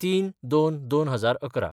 ०३/०२/२०११